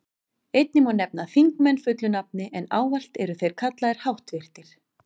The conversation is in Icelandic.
Einnig má nefna þingmenn fullu nafni, en ávallt eru þeir kallaðir háttvirtir.